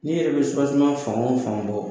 Ni yɛrɛ bɛ fan o fan bɔ